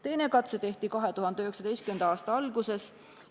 Teine katse tehti 2019. aasta alguses.